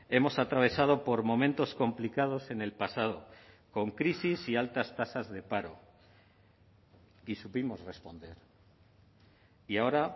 hemos atravesado por momentos complicados en el pasado con crisis y altas tasas de paro y supimos responder y ahora